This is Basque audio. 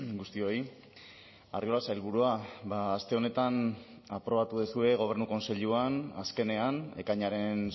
guztioi arriola sailburua aste honetan aprobatu duzue gobernu kontseiluan azkenean ekainaren